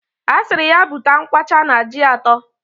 Asiri ya buta nkwa Ọcha na ji ato.